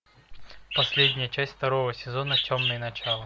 последняя часть второго сезона темное начало